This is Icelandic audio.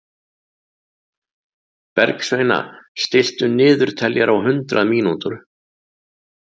Bergsveina, stilltu niðurteljara á hundrað mínútur.